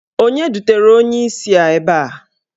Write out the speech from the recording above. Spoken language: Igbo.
Onye dutere onye isi a ebe a?